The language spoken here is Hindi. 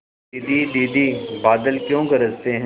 दीदी दीदी बादल क्यों गरजते हैं